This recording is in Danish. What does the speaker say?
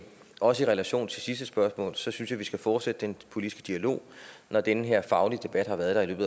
også i relation til sidste spørgsmål synes jeg vi skal fortsætte den politiske dialog når den her faglige debat har været